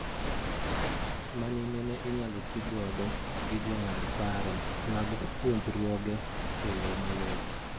Mani nene inyalo ti godo gi jo ng'ad paro mag puonjruoge eyo mayot